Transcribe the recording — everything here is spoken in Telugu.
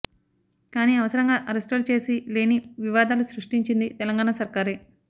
కానీ అనవసరంగా అరెస్టులు చేసి లేని వివాదాలు సృష్టించింది తెలంగాణ సర్కారే